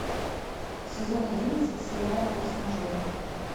сезон одиннадцать сериала форс мажоры